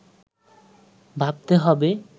ভাবতে হবে